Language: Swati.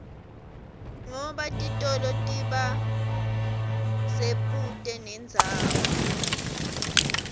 ngoba titolo tiba sebuute nendzawd